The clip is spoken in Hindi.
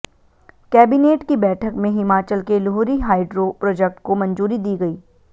कैबिनेट की बैठक में हिमाचल के लुहरी हाइड्रो प्रोजेक्ट को मंजूरी दी गई